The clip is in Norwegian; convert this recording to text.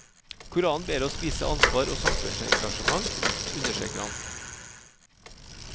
Koranen ber oss vise ansvar og samfunnsengasjement, understreker han.